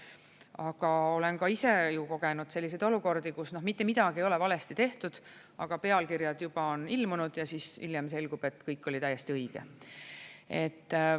Aga olen ka ise kogenud selliseid olukordi, kus mitte midagi ei ole valesti tehtud, aga pealkirjad juba on ilmunud ja hiljem selgub, et kõik oli täiesti õige.